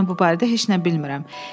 Mən bu barədə heç nə bilmirəm.